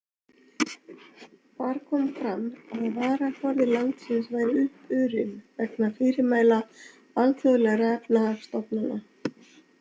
Þar kom fram að varaforði landsins væri uppurinn, vegna fyrirmæla alþjóðlegra efnahagsstofnanna.